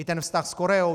I ten vztah s Koreou.